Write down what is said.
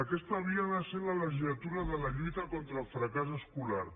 aquesta havia de ser la legislatura de la lluita contra el fracàs escolar